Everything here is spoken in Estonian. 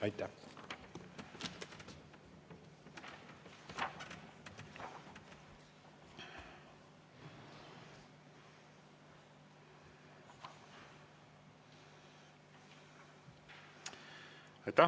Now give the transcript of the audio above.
Aitäh!